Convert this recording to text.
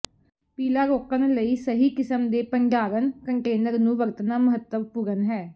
ਪੀਲਾ ਰੋਕਣ ਲਈ ਸਹੀ ਕਿਸਮ ਦੇ ਭੰਡਾਰਣ ਕੰਟੇਨਰ ਨੂੰ ਵਰਤਣਾ ਮਹੱਤਵਪੂਰਨ ਹੈ